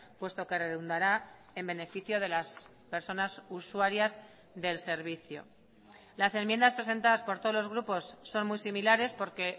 puesto que redundará en beneficio de las personas usuarias del servicio las enmiendas presentadas por todos los grupos son muy similares porque